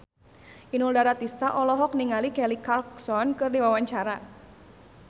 Inul Daratista olohok ningali Kelly Clarkson keur diwawancara